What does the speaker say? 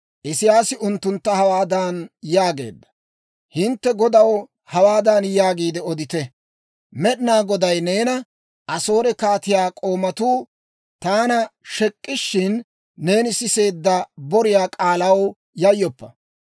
Isiyaasi unttuntta hawaadan yaageedda; «Hintte godaw hawaadan yaagiide odite; Med'inaa Goday neena, ‹Asoore kaatiyaa k'oomatuu taana shek'ishshin, neeni siseedda boriyaa k'aalaw yayyoppa.